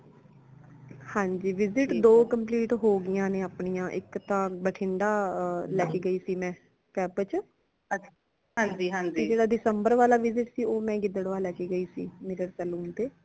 ਹਾਂਜੀ visit ਦੋ complete ਹੋਗਾਇਆ ਅਪਣੀਆਂ ਇਕ ਤਾਂ ਬਟਿੰਦਾ ਲੈਕੇ ਗੈਸੀ ਮੈਂ camp ਚ ਜੇਡਾ december ਵਾਲਾ visit ਸੀ ਉਹ ਮੈਂ ਗਿੱਦੜਵਾ ਲੈਕੇ ਗਈ ਸੀ ਨਿਗੜ saloon ਤੇ